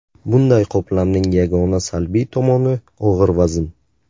Bunday qoplamning yagona salbiy tomoni og‘ir vazn.